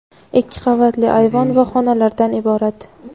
ikki qavatli ayvon va xonalardan iborat.